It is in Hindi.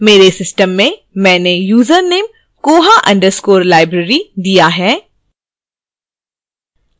मेरे system में मैंने username koha underscore library दिया है